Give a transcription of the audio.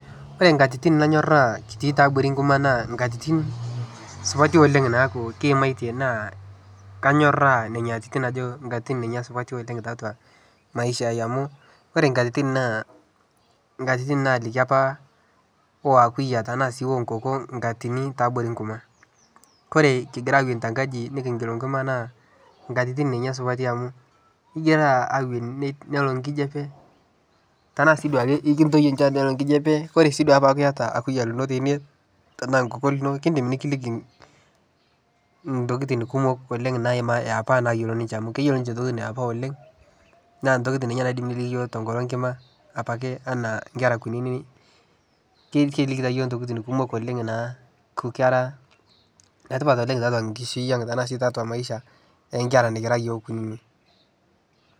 ore inkatitin nanyoraa ketii tiabori inkurma naa inkatitin supati oleng' naaku kiimatie naa kayorra nena atitin ajo nkatitin ninye supati oleng' tiatua maisha amu ore inkatit naa inkatitin naaliki apa ooakuyia tenaa sii onkoko nkatini tiabori nkurma kore kigira akweni tenkaji nikijita enkima naa inkatitin ninye supati amuu nelo nkijape tenaa sii duo ake ekintau enchati nelo nkijape oree sii duo apa ake ata akuyia lino tene tenaa nkoko lino keidim nikiliki intokiting' kumok oleng' naima apa naiyiolo ninche amu keyiolo ninche entokiting' iiyapa oleng' naa intokiting' ninye naidim tenkalo enkima ake anaa inkera kunyinyik keliki taa iyok intokiting' kumok oleng' naa enetipat oleng' tiatua nkishui ang' tenaa sii tiatua maisha oonkera kira iyook kunyinyik.